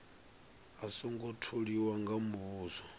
a songo tholiwa nga muvhuso